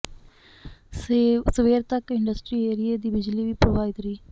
ਸਵੇਰ ਤੱਕ ਇੰਡਸਟਰੀ ਏਰੀਏ ਦੀ ਬਿਜਲੀ ਵੀ ਪ੍ਰਭਾਵਿਤ ਰਹੀ